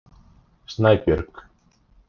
Snæbjörg